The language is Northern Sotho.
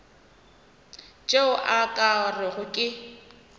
tšeo o ka rego ke